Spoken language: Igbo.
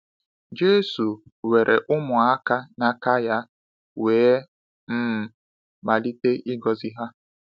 Jésù weere ụmụaka n’aka ya wee um malite ịgọzi ha.